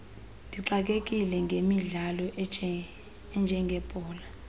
ndixakekile ngemidlalo enjengebhola